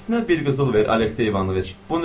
Hərəsinə bir qızıl ver Alekseyi Ivanoviç.